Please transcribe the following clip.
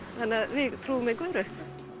við trúum engu öðru